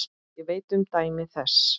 Ég veit um dæmi þess.